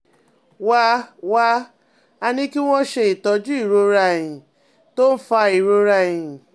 Wá a Wá a ní kí wọ́n ṣe itọju ìrora ẹ̀yìn tó ń fa ìrora ẹ̀yìn